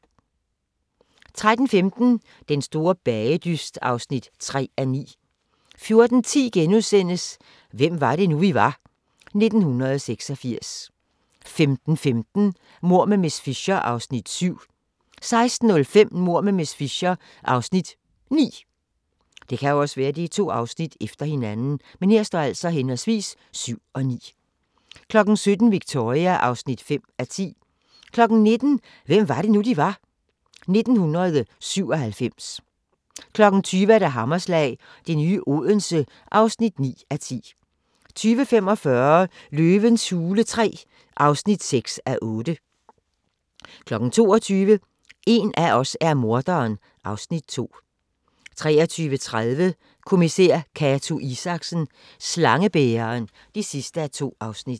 13:15: Den store bagedyst (3:9) 14:10: Hvem var det nu, vi var – 1986 * 15:15: Mord med miss Fisher (Afs. 7) 16:05: Mord med miss Fisher (Afs. 9) 17:00: Victoria (5:10) 19:00: Hvem var det nu, vi var? - 1997 20:00: Hammerslag - det nye Odense (9:10) 20:45: Løvens hule III (6:8) 22:00: En af os er morderen (Afs. 2) 23:30: Kommissær Cato Isaksen: Slangebæreren (2:2)